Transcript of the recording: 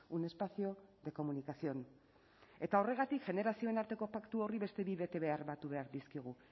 un espacio de comunicación eta horregatik generazioen arteko paktu horri beste bi betebehar batu behar dizkiegu